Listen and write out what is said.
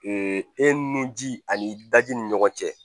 e nun ji ani i daji ni ɲɔgɔn cɛ